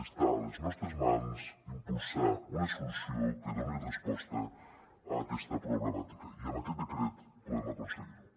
està a les nostres mans impulsar una solució que doni resposta a aquesta problemàtica i amb aquest decret podem aconseguir ho